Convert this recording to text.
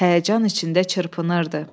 Həyəcan içində çırpınırdı.